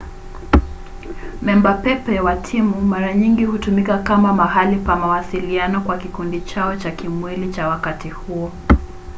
memba pepe wa timu mara nyingi hutumika kama mahali pa mawasiliano kwa kikundi chao cha kimwili cha wakati huo